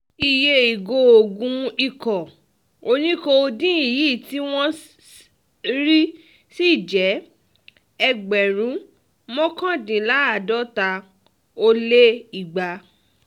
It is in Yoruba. iye ìgò oògùn ikọ̀ oní-kódeine yìí tí wọ́n rí sí jẹ́ ẹgbẹ̀rún mọ́kàndínláàádọ́ta ó lé igba